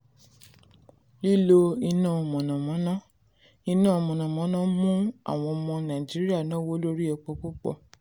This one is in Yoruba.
lílo iná mànàmáná: iná mànàmáná mú àwọn ọmọ nàìjíríà náwó lórí epo púpọ̀.